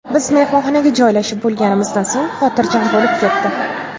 Biz mehmonxonaga joylashib bo‘lganimizdan so‘ng xotirjam bo‘lib ketdi.